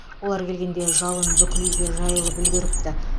олар келгенде жалын бүкіл үйге жайылып үлгеріпті